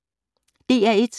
DR1